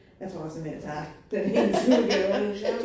Jeg tror også såmænd jeg tager den engelske udgave. Ja